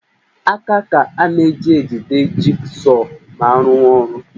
Aka ka a na-eji ejide jigsọọ ma a rụwa ọrụ